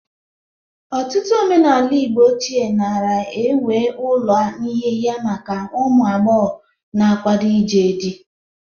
Ọtụtụ omenala Igbo ochie nara enwe ụlọ nhịha maka ụmụ agbọghọ na-akwado ije dị.